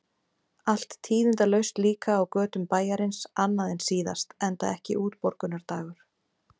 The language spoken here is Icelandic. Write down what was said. Allt tíðindalaust líka á götum bæjarins, annað en síðast, enda ekki útborgunardagur.